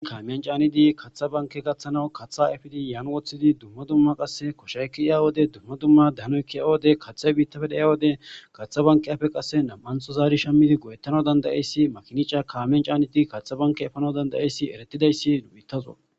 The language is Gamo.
Kamen canid katha banke gathanaw katha epid Yan wothid dumma dumma qase koshay ke'ya wode dumma dumma danoy ke'iya wode kathay bittappe dhayiya wode katha bankiyappe qase 2 tho zari shamid go'etanas danda'es . Kamen canetid katha banke efanaw danda'ays eretidays..